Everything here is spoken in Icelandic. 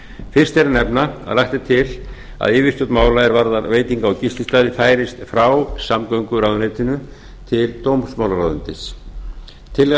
fyrst ber að nefna að lagt er til að yfirstjórn mála er varðar veitinga og gististaði færist frá samgönguráðuneytinu til dómsmálaráðuneytisins tillaga